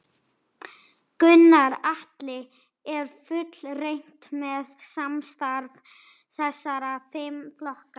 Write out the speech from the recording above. Gunnar Atli: Er fullreynt með samstarf þessara fimm flokka?